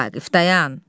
Vaqif dayan!